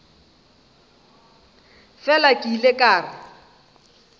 fela ke ile ka re